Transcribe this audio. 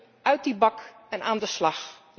We moeten uit die bak en aan de slag.